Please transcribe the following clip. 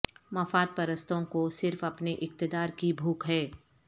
مفاد پرستوں کو صرف اپنے اقتدار کی بھوک ہے